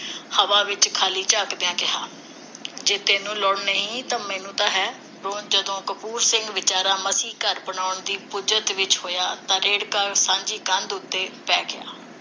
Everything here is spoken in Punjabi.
ਹਵਾ ਵਿਚ ਖਾਲੀ ਝਾਕਦਿਆਂ ਕਿਹਾ। ਜੇ ਤੈਨੂੰ ਲੋੜ ਨਹੀਂ ਤਾਂ ਮੈਨੂੰ ਤਾਂ ਹੈ ਜਦੋਂ ਕਪੂਰ ਸਿੰਘ ਵਿਚਾਰਾ ਮਸੀਂ ਘਰ ਬਣਾਉਣ ਦੀ ਪੁੱਜਤ ਵਿੱਚ ਹੋਇਆ ਤਾਂ ਰੇੜ੍ਹਕਾ ਸਾਂਝੀ ਕੰਧ ਉਤੇ ਪੈ ਗਿਆ ।